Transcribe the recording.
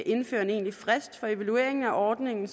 indfører en egentlig frist for evaluering af ordningen